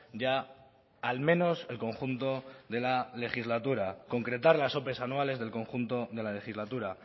ya al menos el conjunto de la legislatura concretar las ope anuales del conjunto de la legislatura